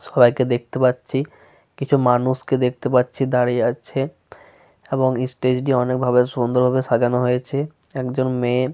সবাই কে দেখতে পাচ্ছি। কিছু মানুষকে দেখতে পাচ্ছি দাঁড়িয়ে আছে এবং স্টেজ টি অনেক ভাবে সুন্দর ভাবে সাজানো হয়েছে। একজন মেয়ে।